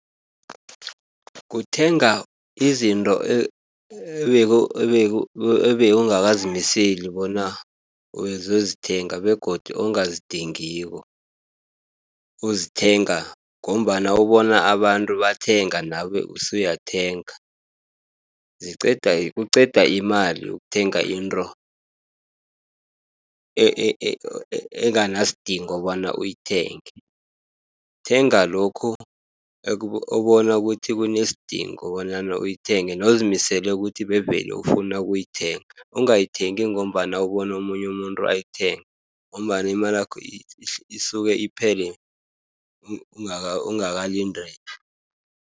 Uthenga izinto ebewungakazimiseli bona uzozithenga begodu ongazidingiko. Uzithenga ngombana ubona abantu bathenga nawe usuyathenga. Kuqeda imali ukuthenga intro enganasidingo bona uyithenga. Thenga lokhu obona ukuthi kunesidingo bonyana uyithenga, newuzimisele ukuthi bevele ufuna ukuyithenga. Ungayithengi ngombana ubono omunye umuntu ayithenga, ngombana imalakho isuke iphele ungakalindeli.